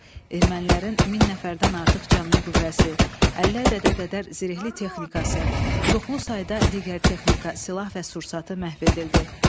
Ermənilərin min nəfərdən artıq canlı qüvvəsi, 50 ədədə qədər zirehli texnikası, çoxlu sayda digər texnika, silah və sursatı məhv edildi.